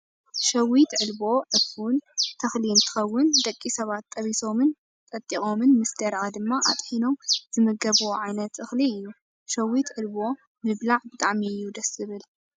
ሸዊት ዕልቦ /ዕፉን/ ተክሊ እንትከውን፣ ደቂ ሰባት ጠቢሶምን ጠጢቆምን ምስ ደረቀ ድማ ኣጥሒኖም ዝምገብዎ ዓይነት እክሊ እዩ። ሸዊት ዕልቦ ምብላ ብጣዕሚ እዩ ደስ ዝብል።